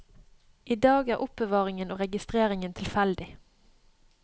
I dag er er oppbevaringen og registreringen tilfeldig.